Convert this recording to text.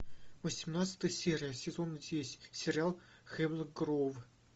восемнадцатая серия сезон десять сериал хемлок гроув